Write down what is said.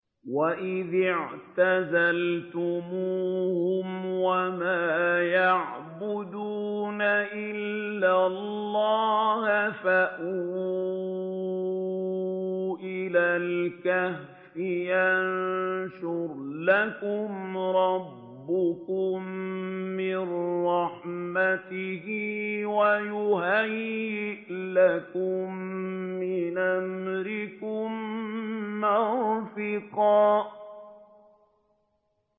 وَإِذِ اعْتَزَلْتُمُوهُمْ وَمَا يَعْبُدُونَ إِلَّا اللَّهَ فَأْوُوا إِلَى الْكَهْفِ يَنشُرْ لَكُمْ رَبُّكُم مِّن رَّحْمَتِهِ وَيُهَيِّئْ لَكُم مِّنْ أَمْرِكُم مِّرْفَقًا